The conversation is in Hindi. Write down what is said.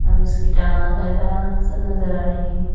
अब इसकी टांग वगैरा सब नजर आ रहे हैं।